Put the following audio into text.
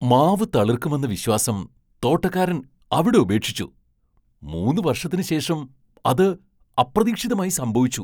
മാവ് തളിർക്കുമെന്ന വിശ്വാസം തോട്ടക്കാരൻ അവിടെ ഉപേക്ഷിച്ചു, മൂന്ന് വർഷത്തിന് ശേഷം അത് അപ്രതീക്ഷിതമായി സംഭവിച്ചു.